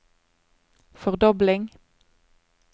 fordobling